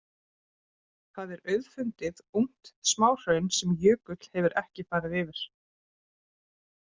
Þar er auðfundið ungt smáhraun sem jökull hefur ekki farið yfir.